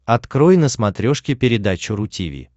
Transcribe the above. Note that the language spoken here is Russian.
открой на смотрешке передачу ру ти ви